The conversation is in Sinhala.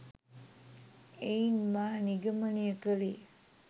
එයින් මා නිගමනය කළේ